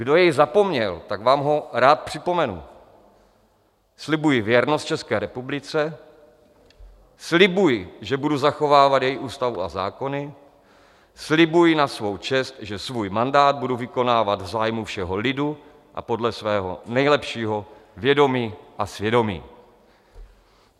Kdo jej zapomněl, tak vám ho rád připomenu: "Slibuji věrnost České republice, slibuji, že budu zachovávat její ústavu a zákony, slibuji na svou čest, že svůj mandát budu vykonávat v zájmu všeho lidu a podle svého nejlepšího vědomí a svědomí."